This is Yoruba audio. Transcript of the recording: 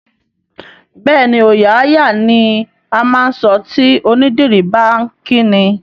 Bẹẹni, "ọòya á yà" ni á máa ń sọ tí onídìrí bá ń kí ni.